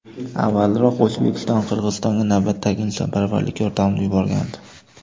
Avvalroq O‘zbekiston Qirg‘izistonga navbatdagi insonparvarlik yordamini yuborgandi .